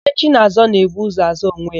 Onye chi na-azọ, na-ebu ụzọ azọ onwe ya.